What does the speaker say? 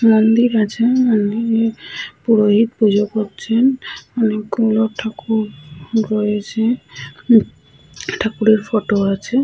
মন্দির আছে। মন্দিরে পুরোহিত পুজো করছেন। অনেকগুলো ঠাকুর রয়েছে। উ ঠাকুরের ফটো আছে।